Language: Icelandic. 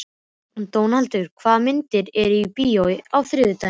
Dónaldur, hvaða myndir eru í bíó á þriðjudaginn?